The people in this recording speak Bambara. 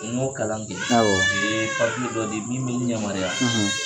N y'o kalan kɛ, awɔ u ye papiye dɔ di yan min bɛ n yamaruya